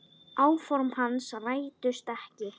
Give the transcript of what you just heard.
Áform hans rættust ekki.